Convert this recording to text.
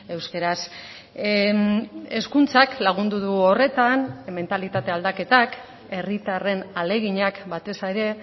euskaraz hezkuntzak lagundu du horretan mentalitate aldaketak herritarren ahaleginak batez ere